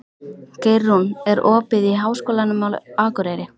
Geirrún, er opið í Háskólanum á Akureyri?